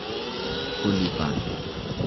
kolivand